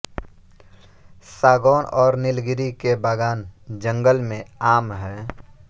सागौन और नीलगिरी के बागान जंगल में आम हैं